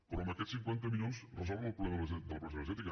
però amb aquests cinquanta milions resolen el problema de la pobresa energètica